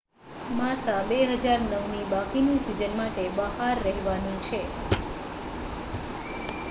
માસા 2009 ની બાકીની સીઝન માટે બહાર રહેવાની છે